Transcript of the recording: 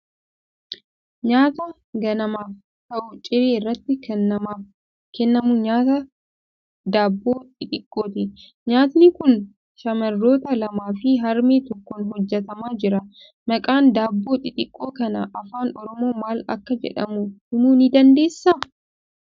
Nyaata ganaamaaf ta'u, ciree irratti kan namaaf kennamu nyaata daabboo xixiqqooti. Nyaatni kun shamarroota lamaa fi harmee tokkoon hojjetamaa jira. Maqaan daabboo xixiqqoo kanaa afaan Oromoon maal akka jedhamu himuu ni dandeessaa?